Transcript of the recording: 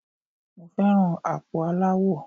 Mo fẹ́ràn àpò aláwọ.